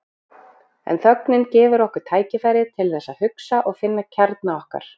En þögnin gefur okkur tækifæri til þess að hugsa og finna kjarna okkar.